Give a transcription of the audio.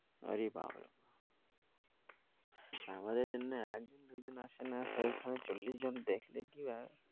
ওরে বাবা আমাদের জন্য এক দু জন আসে না